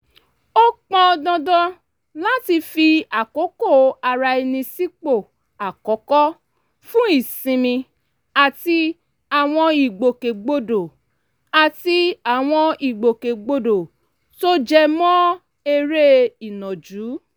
ó pọn dandan láti fi àkókò ara ẹni sípò àkọ́kọ́ fún ìsinmi àti àwọn ìgbòkègbodò àti àwọn ìgbòkègbodò tó jẹ mọ́ eré ìnàjú